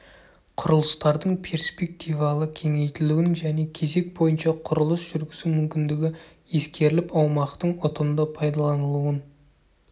құрылыстардың перспективалы кеңейтілуінің және кезек бойынша құрылыс жүргізу мүмкіндігі ескеріліп аумақтың ұтымды пайдаланылуын